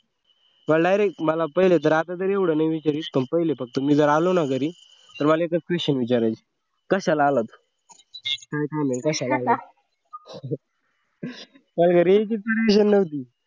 मला direct मला तर अगोदर असं विचारीत पण मी जर आलो ना घरी तर मला एकच question विचारायचे कशाला आलास? काय झालं? कशाला आलास? मला घरी यायची permission नव्हती